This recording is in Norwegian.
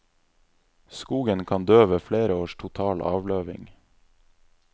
Skogen kan dø ved flere års total avløving.